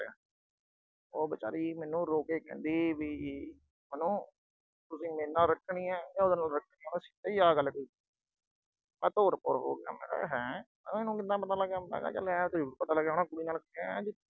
ਉਹ ਵਿਚਾਰੀ ਮੈਨੂੰ ਰੋ ਕੇ ਕਹਿੰਦੀ ਵੀ ਮੈਨੂੰ, ਤੁਸੀਂ ਮੇਰੇ ਨਾਲ ਰੱਖਣੀ ਆ ਕਿ ਉਹਦੇ ਨਾਲ ਰੱਖਣੀ ਆ, ਉਹਨੇ ਸਿੱਧਾ ਆਹ ਗੱਲ ਕਹੀ। ਮੈਂ ਤੋਰ ਭੋਰ ਹੋ ਗਿਆ। ਮੈਂ ਕਿਹਾ ਹੈਂ ਇਹਨੂੰ ਕਿਦਾਂ ਪਤਾ ਲੱਗ ਗਿਆ। ਮੈਂ ਕਿਹਾ ਏ ਜ਼ਰੂਰ ਪਤਾ ਲੱਗਿਆ ਹੋਣਾ ਕੁੜੀ ਨਾਲ ਖੜਾ, ਐ ਵੀ